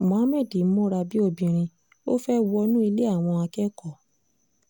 muhammad múra bíi obìnrin ó fẹ́ẹ́ wọnú ilé àwọn akẹ́kọ̀ọ́